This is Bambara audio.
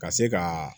Ka se ka